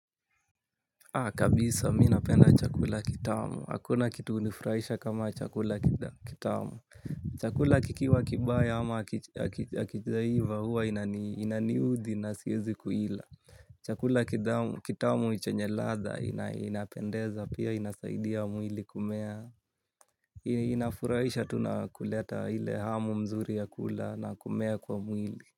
Kabisa mimi napenda chakula kitamu. Hakuna kitu hunifurahisha kama chakula kitamu. Chakula kikiwa kibaya ama hakijaiva huwa inaniudhi na siwezi kuila. Chakula kitamu chenye ladha inapendeza pia inasaidia mwili kumea. Inafurahisha tu nakuleta ile hamu mzuri ya kula na kumea kwa mwili.